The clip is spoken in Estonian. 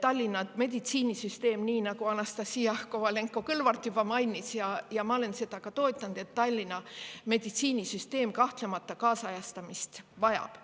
Tallinna meditsiinisüsteem, nii nagu Anastassia Kovalenko-Kõlvart juba mainis – ja ma olen seda ka toetanud –, kahtlemata kaasajastamist vajab.